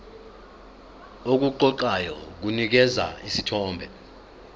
okuqoqayo kunikeza isithombe